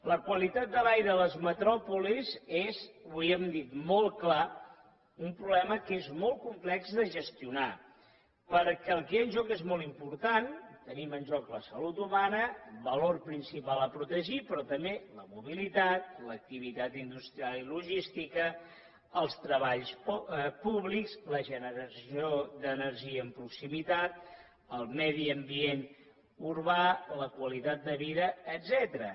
la qualitat de l’aire a les metròpolis és li ho hem dit molt clar un problema que és molt complex de gestionar perquè el que hi ha en joc és molt important tenim en joc la salut humana valor principal a protegir però també la mobilitat l’activitat industrial i logística els treballs públics la generació d’energia en proximitat el medi ambient urbà la qualitat de vida etcètera